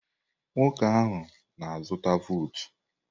Nwoke ahụ na-azụta votu.